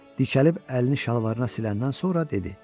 Dikəlib əlini şalvarına siləndən sonra dedi.